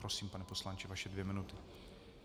Prosím, pane poslanče, vaše dvě minuty.